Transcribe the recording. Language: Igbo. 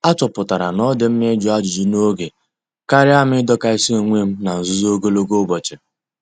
A chọpụtara na-odi mma ịjụ ajụjụ n'oge karịa m idokasi onwem n'nzuzo ogologo ụbọchị.